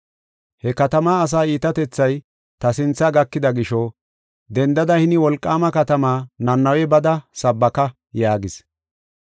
“He katama asa iitatethay ta sinthe gakida gisho, dendada hini wolqaama katama Nanawe bada sabbaka” yaagis.